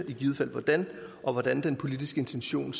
i givet fald hvordan og hvordan bliver den politiske intention